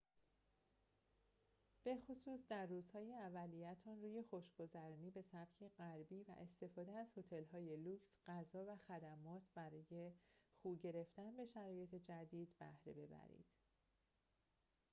به‌خصوص در روزهای اولیه‌تان روی خوش‌گذرانی به سبک غربی و استفاده از هتل‌های لوکس غذا و خدمات برای خو گرفتن به شرایط جدید بهره ببرید